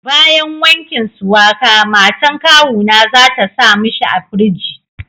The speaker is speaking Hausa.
Bayan wankin suwaka, matan kawuna za ta sa mishi a firiji.